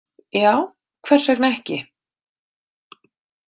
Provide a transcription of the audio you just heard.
Já, hvers vegna ekki?